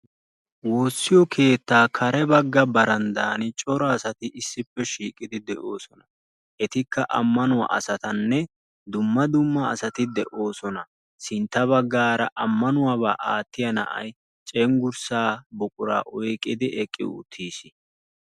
Woossiyo keettaa kare bagga baranddan cora asati issippe shiiqidi de'oosona. Etikka ammanuwa asatinne dumma dumma asati de'oosona. Sintta bagaara ammanuwaba aattiya na'ay cengursa buquraa oyqqidi eqqi uttiis.